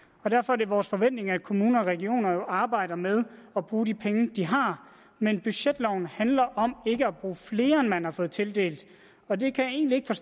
og derfor er det vores forventning at kommuner og regioner arbejder med at bruge de penge de har men budgetloven handler om ikke at bruge flere end man har fået tildelt